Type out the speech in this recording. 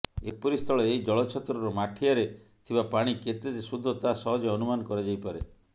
ଏପରିସ୍ଥଳେ ଏହି ଜଳଛତ୍ରର ମାଠିଆରେ ଥିବା ପାଣି କେତେ ଯେ ଶୁଦ୍ଧ ତାହା ସହଜେ ଅନୁମାନ କରାଯାଇପାରେ